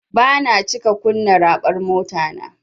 Bana cika kunna raɓar motata.